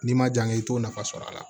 N'i ma jan i t'o nafa sɔrɔ a la